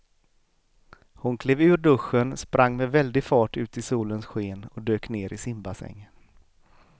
Hon klev ur duschen, sprang med väldig fart ut i solens sken och dök ner i simbassängen.